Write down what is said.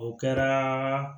O kɛra